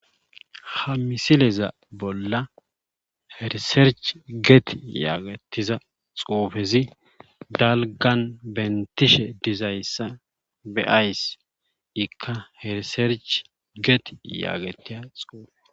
Ha misileza bolla riserchi geti yaagettiza xuufezi dalggan benttishe duzayssa be7zays ikka riserchi geti yaagettiya xuufe.